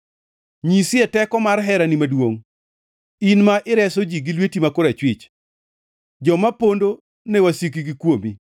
Nyisie teko mar herani maduongʼ, in ma ireso ji gi lweti ma korachwich, joma pondo ne wasikgi kuomi.